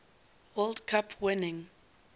world cup winning